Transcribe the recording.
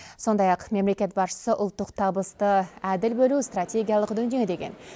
сондай ақ мемлекет басшысы ұлттық табысты әділ бөлу стратегиялық дүние деген